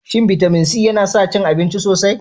Shin bitamin C yana sa cin abinci sosai?